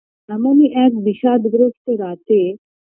এমনই এক বিষাদগ্রস্ত রাতে